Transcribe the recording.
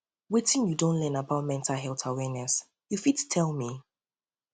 wetin you don learn about mental health awareness you fit tell tell me